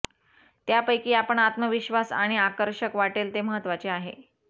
त्यापैकी आपण आत्मविश्वास आणि आकर्षक वाटेल ते महत्वाचे आहे